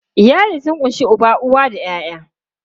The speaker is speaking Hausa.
Iyali sun ƙunshi uba, uwa da ƴaƴa.